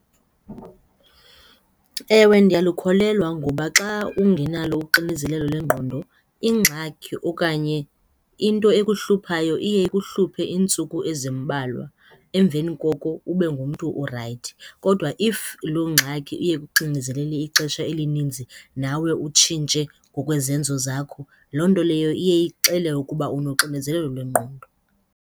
Ewe, ndiyalukholelwa ngoba xa ungenalo uxinizelelo lwengqondo ingxaki okanye into ekuhluphayo iye ikuhluphe iintsuku ezimbalwa. Emveni koko ube ngumntu orayithi. Kodwa if loo ngxaki iye ikuxinezelele ixesha elininzi nawe utshintshe ngokwezenzo zakho, loo nto leyo iye ixele ukuba unoxinizelelo lwengqondo.